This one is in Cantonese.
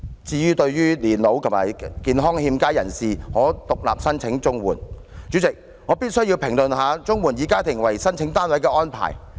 至於對年老和健康欠佳人士可獨立申請綜援，代理主席，我必須評論綜援以家庭為申請單位的安排。